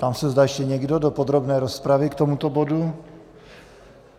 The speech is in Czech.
Ptám se, zda ještě někdo do podrobné rozpravy k tomuto bodu.